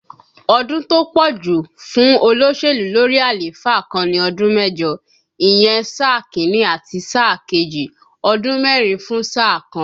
Ọdún tó pọ̀ jù fún olóṣèlú lórí àléfà kan ni ọdún mẹ́jọ, ìyẹn sáà Kínní àti sáà kejì, ọdún mẹ́rin fún sáà kan